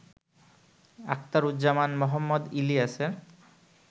আখতারুজ্জামান মোহাম্মদ ইলিয়াসের